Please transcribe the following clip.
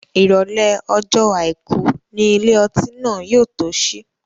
Ìrọ̀lẹ́ ọjọ́ àìkú ni ilé ọtí náà yóò tó sí.